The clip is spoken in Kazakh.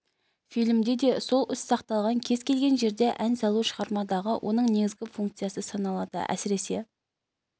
фильмде де сол із сақталған кез келген жерде ән салу шығармадағы оның негізгі функциясы саналады әсіресе